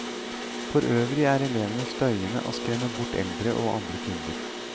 Forøvrig er elevene støyende, og skremmer bort eldre og andre kunder.